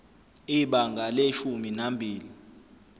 ibanga leshumi nambili